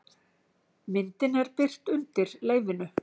Myndin er birt undir leyfinu